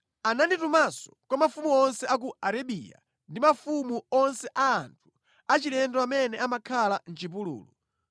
Ananditumanso kwa mafumu onse a ku Arabiya ndi mafumu onse a anthu achilendo amene amakhala mʼchipululu.